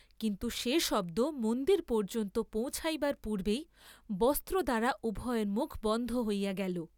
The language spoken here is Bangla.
কিন্তু সে শব্দ মন্দির পর্য্যন্ত পৌঁছিবার পূর্ব্বেই বস্ত্রদ্বারা উভয়ের মুখ বন্ধ হইয়া গেল।